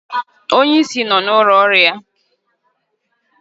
Onye ísí nọ n'ụlọ ọrụ ya.